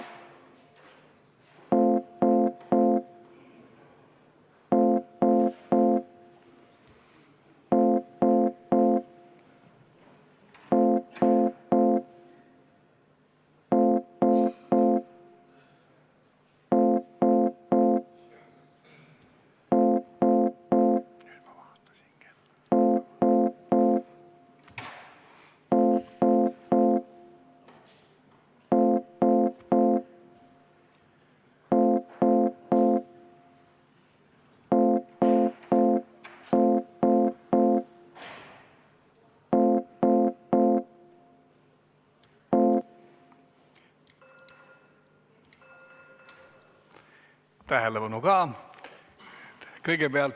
Tähelepanu!